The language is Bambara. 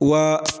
Wa